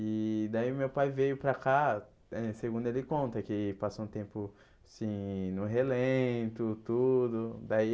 E daí meu pai veio para cá eh, segundo ele conta, que passou um tempo assim no relento, tudo daí.